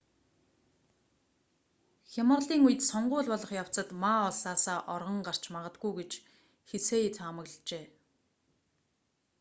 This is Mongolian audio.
хямралын үед сонгууль болох явцад ма улсаасаа оргон гарч магадгүй гэж хсие таамаглажээ